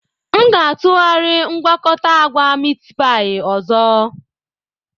M ga-atụgharị mgwakota agwa Miitipai ọzọ.